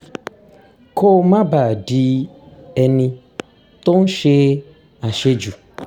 kó má bàa di ẹni tó ń ṣe àṣejù